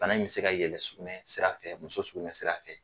Bana in bɛ se ka yɛlɛn sugunɛ sira fɛ, muso sugunɛ sira fɛ.